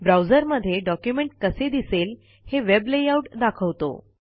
browser मध्ये document कसे दिसेल हे वेब लेआउट दाखवतो